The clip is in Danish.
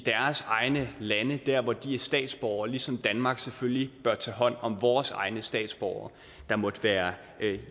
egne lande der hvor de er statsborgere ligesom danmark selvfølgelig bør tage hånd om vores egne statsborgere der måtte være